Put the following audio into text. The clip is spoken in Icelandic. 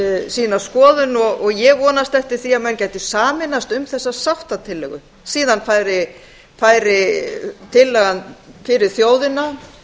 sína skoðun og ég vonast eftir því að menn gætu sameinast um þessa sáttatillögu síðan færi tillagan fyrir þjóðina